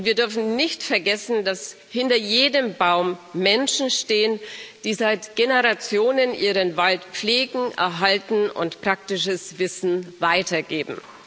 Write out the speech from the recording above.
Wir dürfen nicht vergessen, dass hinter jedem Baum Menschen stehen, die seit Generationen ihren Wald pflegen, erhalten und praktisches Wissen weitergeben.